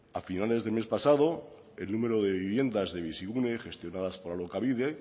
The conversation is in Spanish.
a finales del mes pasado el número de viviendas de bizigune gestionadas por alokabide